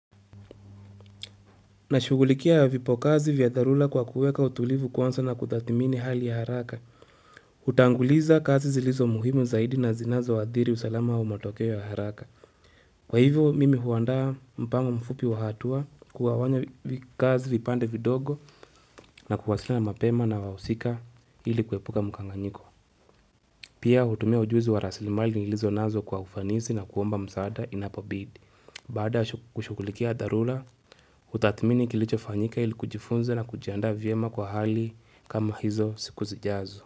Nashughulikia vipokazi vya dharula kwa kuweka utulivu kwanza na kutathimini hali ya haraka. Hutanguliza kazi zilizo muhimu zaidi na zinazo wa adhiri usalama wa matokeo ya haraka. Kwa hivyo mimi huanda mpango mfupi wa hatua kugawanya kazi vipande vidogo na kuwasiliana mapema na wahusika ili kuepuka mkanganyiko. Pia hutumia ujuzu wa raslimali nilizo nazo kwa ufanisi na kuomba msaada inapobidi. Baada kushughulikia dharula, hutathmini kilicho fanyika ili kujifunze na kujianda vyema kwa hali kama hizo siku zijazo.